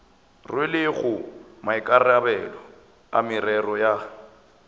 rwelego maikarabelo a merero ya